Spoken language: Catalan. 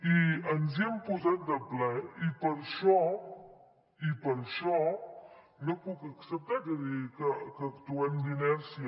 i ens hi hem posat de ple i per això no puc acceptar que digui que actuem d’inèrcia